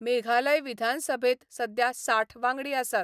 मेघालय विधानसभेंत सध्या साठ वांगडी आसात.